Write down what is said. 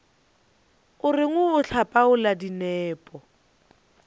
o reng o hlapaola dinepo